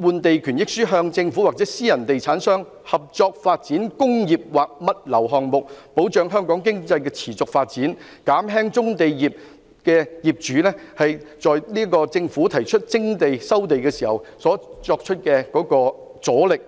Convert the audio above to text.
換地權益書與政府或私人地產商合作發展工作或物流項目，保障香港經濟的持續發展，減輕棕地業主在政府提出徵地或收地時所作出的阻力。